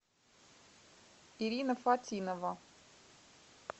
ирина фатинова